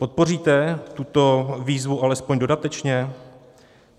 Podpoříte tuto výzvu alespoň dodatečně?